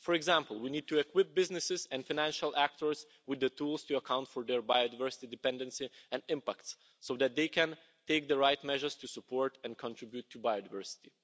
For example, we need to work with businesses and financial actors with the tools to account for their biodiversity dependency and impacts, so that they can take the right measures to support and contribute to biodiversity.